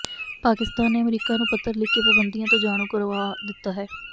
ਪਾਕਿਸਤਾਨ ਨੇ ਅਮਰੀਕਾ ਨੂੰ ਪੱਤਰ ਲਿਖ ਕੇ ਪਾਬੰਦੀਆਂ ਤੋਂ ਜਾਣੂ ਕਰਵਾ ਦਿੱਤਾ ਹੈ